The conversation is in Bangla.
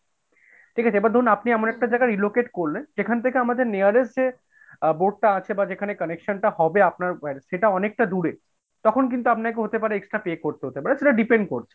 ঠিক আছে? এবার ধরুন আপনি এমন একটা জায়গায় relocate করলেন, যেখান থেকে আমাদের nearest যে board টা আছে বা যেখানা connection টা হবে আপনার সেটা অনেকটা দূরে তখন কিন্তু আপনাকে হতে পারে extra pay করতে হতে পারে বা সেটা depend করছে।